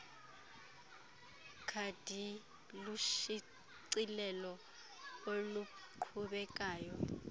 khadi lushicilelo oluqhubekayo